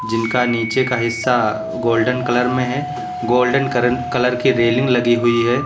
जिनका नीचे का हिस्सा गोल्डन कलर में है गोल्डन कर कलर की रेलिंग लगी हुई है।